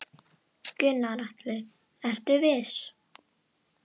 Gunnar Atli: Ertu viss?